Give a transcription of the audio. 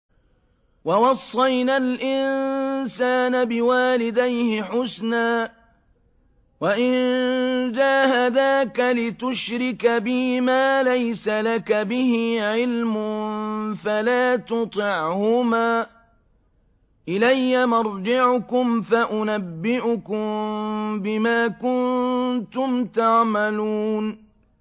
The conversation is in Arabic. وَوَصَّيْنَا الْإِنسَانَ بِوَالِدَيْهِ حُسْنًا ۖ وَإِن جَاهَدَاكَ لِتُشْرِكَ بِي مَا لَيْسَ لَكَ بِهِ عِلْمٌ فَلَا تُطِعْهُمَا ۚ إِلَيَّ مَرْجِعُكُمْ فَأُنَبِّئُكُم بِمَا كُنتُمْ تَعْمَلُونَ